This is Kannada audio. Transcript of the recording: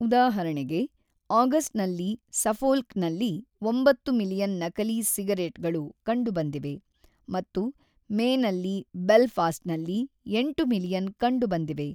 ಉದಾಹರಣೆಗೆ, ಆಗಸ್ಟ್‌ನಲ್ಲಿ ಸಫೊಲ್ಕ್‌ನಲ್ಲಿ ಒಂಬತ್ತು ಮಿಲಿಯನ್ ನಕಲಿ ಸಿಗರೇಟ್‌ಗಳು ಕಂಡುಬಂದಿವೆ ಮತ್ತು ಮೇನಲ್ಲಿ ಬೆಲ್‌ಫಾಸ್ಟ್‌ನಲ್ಲಿ ಎಂಟು ಮಿಲಿಯನ್ ಕಂಡುಬಂದಿವೆ.